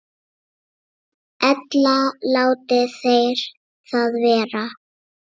Ella láti þeir það vera.